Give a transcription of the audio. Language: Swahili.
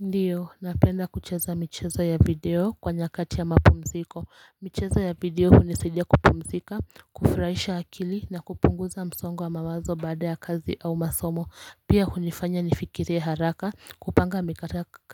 Ndiyo napenda kucheza michezo ya video kwa nyakati ya mapumziko michezo ya video hunisaidia kupumzika kufurahisha akili na kupunguza msongo wa mamazo baada ya kazi au masomo pia hunifanya nifikirie haraka kupanga